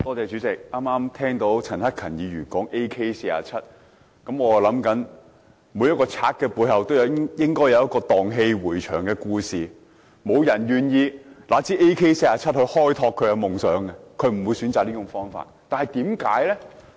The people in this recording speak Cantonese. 主席，剛剛聽到陳克勤議員談及 AK47 步槍，我在想每一個賊人的背後都應該有段盪氣迴腸的故事，否則沒有人願意拿着 AK47 步槍來開拓夢想，沒有人會選擇這種方法。